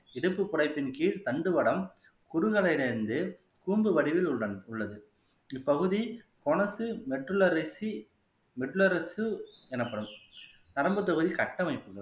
இடுப்பு புடைப்பின் கீழ் தண்டுவடம் குறுகலிலிருந்து கூம்பு வடிவில் உள்ள உள்ளது இப்பகுதி கொனசு மெட்டுலரிசி மெட்டுலரிசு எனப்படும் நரம்புத்தொகை கட்டமைப்புகள்